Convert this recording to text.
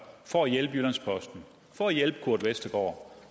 for at hjælpe jyllands posten for at hjælpe kurt westergaard